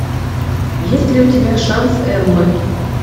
есть ли у тебя шанс эммы